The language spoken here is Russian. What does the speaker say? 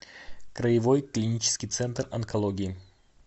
краевой клинический центр онкологии